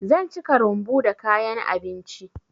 Zan cika rumbu da kayan abinci.